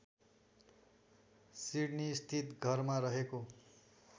सिड्नीस्थित घरमा रहेको